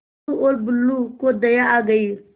टुल्लु और बुल्लु को दया आ गई